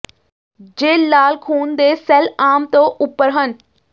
ਜੇ ਲਾਲ ਖੂਨ ਦੇ ਸੈੱਲ ਆਮ ਤੋਂ ਉੱਪਰ ਹਨ